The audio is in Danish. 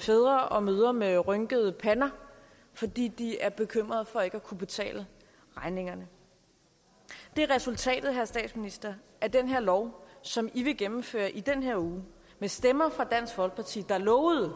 fædre og mødre med rynkede pander fordi de er bekymrede for ikke at kunne betale regningerne det er resultatet herre statsminister af den her lov som i vil gennemføre i den her uge med stemmer fra dansk folkeparti der lovede